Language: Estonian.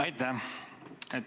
Aitäh!